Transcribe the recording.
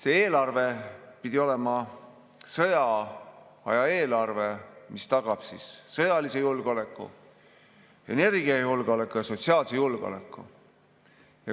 See eelarve pidi olema sõjaaja eelarve, mis tagab sõjalise julgeoleku, energiajulgeoleku ja sotsiaalse julgeoleku.